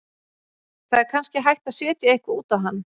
Það er kannski hægt að setja eitthvað út á hann.